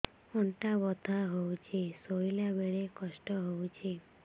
ଅଣ୍ଟା ବଥା ହଉଛି ଶୋଇଲା ବେଳେ କଷ୍ଟ ହଉଛି